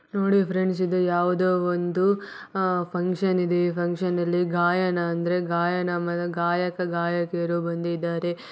ನೋಡಿ ಫ್ರೆಂಡ್ಸ್ ಇದು ಯಾವ್ದೋ ಒಂದು ಅಹ್ ಫಂಕ್ಷನ್ ಇದೆ ಫಂಕ್ಷನ್ ನಲ್ಲಿ ಈ ಗಾಯನ ಅಂದ್ರೆ ಗಾಯನ್ ಗಾಯಕ ಗಾಯಕಿ ಬಂದಿದಾರೆ.